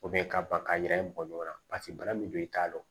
ka ban ka jira bɔ ɲɔgɔn na paseke bana min don i t'a dɔn